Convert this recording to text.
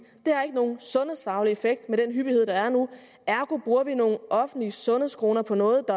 det har ikke nogen sundhedsfaglig effekt med den hyppighed der er nu ergo bruger vi nogle offentlige sundhedskroner på noget